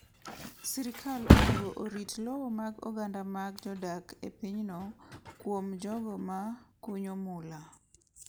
Sirkal onego orit lowo mag oganda ma jodak e pinyno kuom jogo ma kunyo mula.